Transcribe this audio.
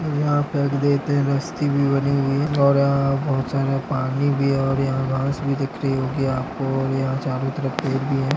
और यहाँ पे देख रहे हैं रस्ते बनी हुई है और बहुत सारा पानी भी है और यहाँ घास भी दिख रही होगी आपको और यहाँ चारो तरफ पेड़ भी है।